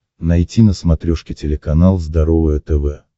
найти на смотрешке телеканал здоровое тв